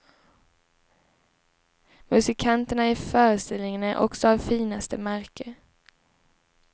Musikanterna i föreställningen är också av finaste märke.